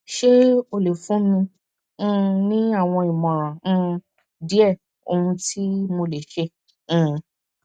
se o le fun mi um ni awọn imọran um die ohun ti mo le ṣe um